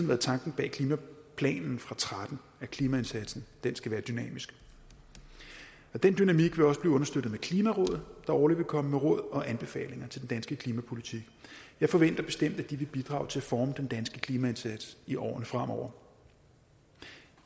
været tanken bag klimaplanen fra tretten at klimaindsatsen skal være dynamisk den dynamik vil også blive understøttet med klimarådet der årligt vil komme med råd og anbefalinger til den danske klimapolitik jeg forventer bestemt at de vil bidrage til at forme den danske klimaindsats i årene fremover